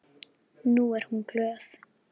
Nú er hún glöð.